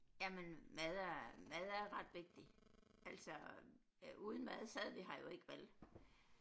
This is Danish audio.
Jamen mad er mad er ret vigtig altså øh uden mad sad vi her jo ikke vel